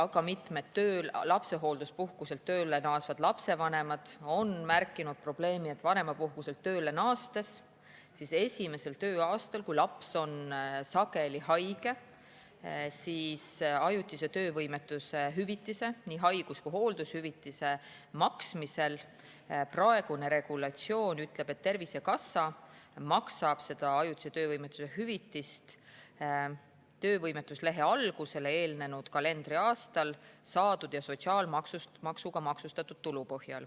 Ka mitmed lapsehoolduspuhkuselt tööle naasvad lapsevanemad on märkinud seda probleemi, et kui nad vanemapuhkuselt tööle on naasnud, siis esimesel tööaastal, kui laps on sageli haige, maksab Tervisekassa praeguse regulatsiooni järgi ajutise töövõimetuse hüvitist, nii haigus‑ kui ka hooldushüvitist, töövõimetuslehe algusele eelnenud kalendriaastal saadud ja sotsiaalmaksuga maksustatud tulu põhjal.